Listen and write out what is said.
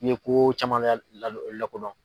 I bɛ ko caman lakodɔn.